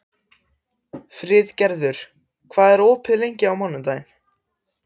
Friðgerður, hvað er opið lengi á mánudaginn?